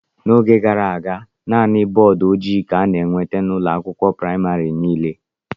N'oge gara aga, naanị bọọdụ ojii ka a na-enweta n'ụlọ akwụkwọ praịmarị niile.